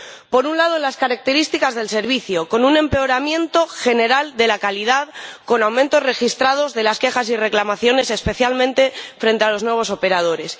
Por un lado, las características del servicio, con un empeoramiento general de la calidad, con aumentos registrados de las quejas y reclamaciones, especialmente de las dirigidas a los nuevos operadores.